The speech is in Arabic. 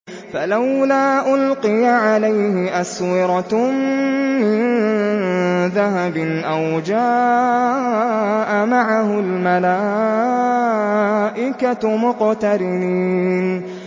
فَلَوْلَا أُلْقِيَ عَلَيْهِ أَسْوِرَةٌ مِّن ذَهَبٍ أَوْ جَاءَ مَعَهُ الْمَلَائِكَةُ مُقْتَرِنِينَ